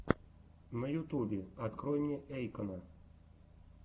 на ютубе открой мне эйкона